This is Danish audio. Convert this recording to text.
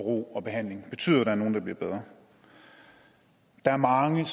og ro og behandling betyder der er nogle der bliver bedre der er mange